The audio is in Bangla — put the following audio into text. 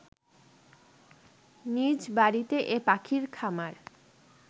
নিজ বাড়িতে এ পাখির খামার